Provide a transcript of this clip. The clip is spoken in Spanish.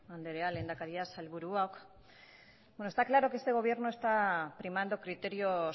andrea lehendakaria sailburuak bueno está claro que este gobierno está primando criterios